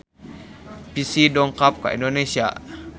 Psy dongkap ka Indonesia